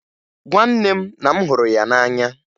Gwa nne m na m hụrụ ya n'anya!